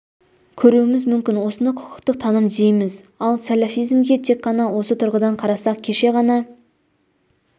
көруіміз мүмкін осыны құқықтық таным дейміз ал сәләфизмге тек қана осы тұрғыдан қарасақ кеше ғана